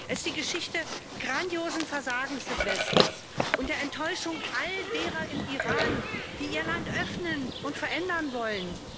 Es die Geschichte grandiosen Versagens des Westens und der Enttäuschung all derer im Iran, die ihr Land öffnen und verändern wollen.